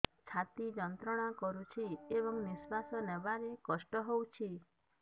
ଛାତି ଯନ୍ତ୍ରଣା କରୁଛି ଏବଂ ନିଶ୍ୱାସ ନେବାରେ କଷ୍ଟ ହେଉଛି